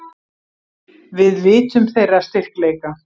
Við vitum þeirra styrkleika.